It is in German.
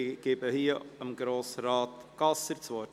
Ich erteile hierzu Grossrat Gasser das Wort.